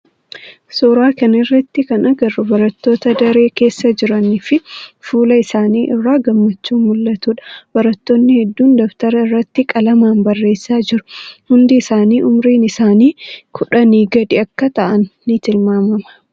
Suuraa kana irratti kana agarru barattoota daree keessa jiranii fi fuula isaanii irraa gammachuun muul'atudha. Barattoonni hunduu dabtara irratti qalamaan barreessaa jiru. Hundi isaanii umriin isaanii kudhanii gadi akka ta'aan ni tilmaama.